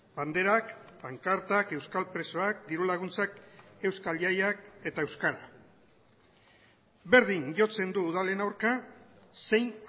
banderak pankartak euskal presoak dirulaguntzak euskal jaiak eta euskara berdin jotzen du udalen aurka zein